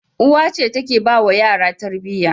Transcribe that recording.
Uwa ce take bawa yara Tarbiyya